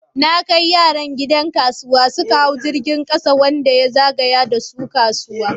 Na kai yaran gidan kasuwa, suka hau jirgin kasa wanda ya zagaya da su kasuwa.